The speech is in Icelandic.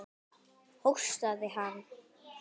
Hóstaði hann?